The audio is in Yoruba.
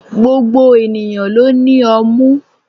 Gbogbo ènìyàn ló ní ọmú.